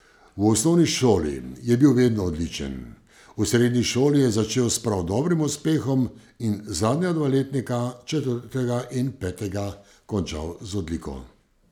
V osnovni šoli je bil vedno odličen, v srednji šoli je začel s prav dobrim uspehom in zadnja dva letnika, četrtega in petega, končal z odliko.